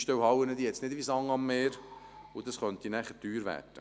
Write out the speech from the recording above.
Einstellhallen gibt es nicht wie Sand am Meer, und das könnte dann teuer werden.